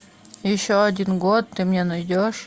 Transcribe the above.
еще один год ты мне найдешь